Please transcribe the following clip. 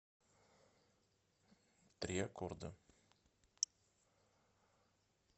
три аккорда